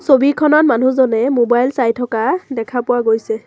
ছবিখনত মানুহজনে মোবাইল চাই থকা দেখা পোৱা গৈছে।